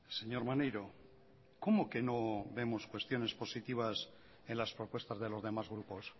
señor maneiro cómo que no vemos cuestiones positivas en las propuestas de los demás grupos